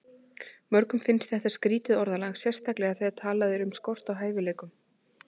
Mörgum finnst þetta skrýtið orðalag, sérstaklega þegar talað er um skort á hæfileikum.